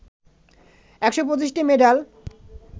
১২৫টি medal